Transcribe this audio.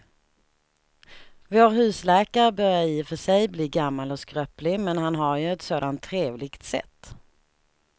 Vår husläkare börjar i och för sig bli gammal och skröplig, men han har ju ett sådant trevligt sätt!